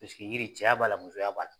Pisiki yiri cɛya b'a la musoya b'a la.